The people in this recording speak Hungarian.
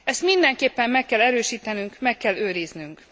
Ezt mindenképpen meg kell erősítenünk, meg kell őriznünk.